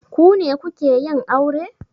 Ku ne kuke yin aure?